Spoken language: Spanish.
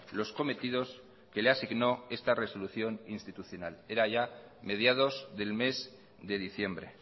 los cometidos que le asignó esta resolución institucional era ya mediados del mes de diciembre